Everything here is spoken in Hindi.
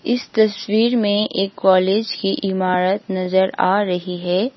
इस तस्वीर में एक कॉलेज की इमारत नजर आ रही है।